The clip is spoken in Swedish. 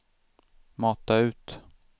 mata ut